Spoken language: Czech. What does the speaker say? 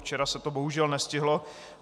Včera se to bohužel nestihlo.